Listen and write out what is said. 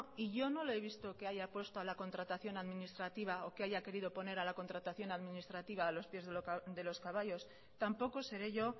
y yo no le he visto que haya puesto a la contratación administrativa o que haya querido poner a la contratación administrativa a los pies de los caballos tampoco seré yo